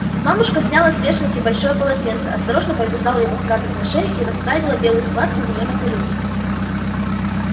мамушка сняла с вешалки большое полотенце осторожно повязала его скарлетт на шею и расправила белые складки у нее на коленях